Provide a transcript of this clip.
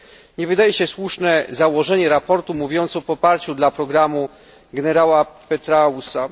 Nie wydaje się słuszne założenie raportu mówiące o poparciu dla programu generała Petraeusa.